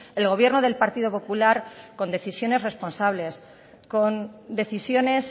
el gobierno del partido popular con decisiones responsables con decisiones